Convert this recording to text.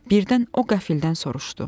Birdən o qəfildən soruşdu: